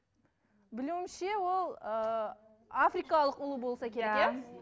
білуімше ол ыыы африкалық ұлу болса керек иә